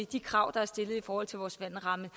de krav der er stillet i forhold til vores vandramme